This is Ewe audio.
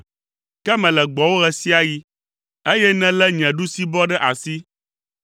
Ke mele gbɔwò ɣe sia ɣi, eye nèlé nye ɖusibɔ ɖe asi.